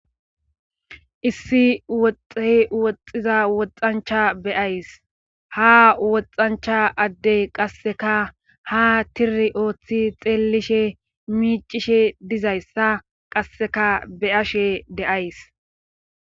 issi woxxey woxxiza woxancha beyays ha woxancha addey qasseka ha tiri ooththi xeellishe miicishe dizayssa qasseka beyashe de7ays